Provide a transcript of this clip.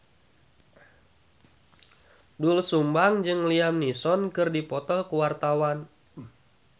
Doel Sumbang jeung Liam Neeson keur dipoto ku wartawan